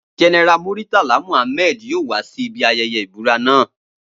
General Muritala Mohammed yoo wa si ibi ayẹyẹ ibura naa